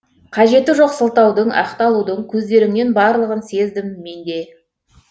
қажеті жоқ сылтаудың ақталудың көздеріңнен барлығын сездім менде